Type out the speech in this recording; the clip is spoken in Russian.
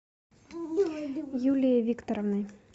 юлией викторовной